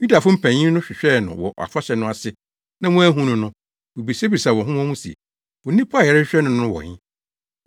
Yudafo mpanyin no hwehwɛɛ no wɔ afahyɛ no ase na wɔanhu no no, wobisabisaa wɔn ho wɔn ho se, “Onipa a yɛrehwehwɛ no no wɔ he?”